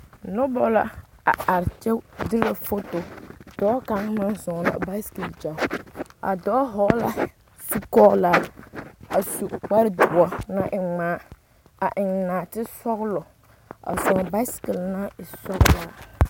Noba la a are kyɛ derɛ foto dɔɔ kaŋ meŋ zɔɔŋ a basekele gyao a dɔɔ hɔgla zukogra a su kpare doɔ naŋ e ŋmaa a eŋ naatesɔglɔ a zɔɔŋ basekele naŋ e sɔglaa.